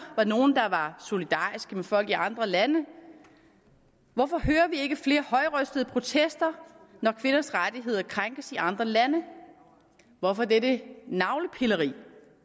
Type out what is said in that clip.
var nogle der var solidariske med folk i andre lande hvorfor hører vi ikke flere højrøstede protester når kvinders rettigheder krænkes i andre lande hvorfor dette navlepilleri